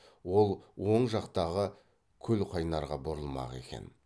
ол оң жақтағы көлқайнарға бұрылмақ екен